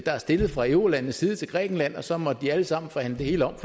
er stillet for eurolandenes side til grækenland og så måtte de alle sammen forhandle det hele om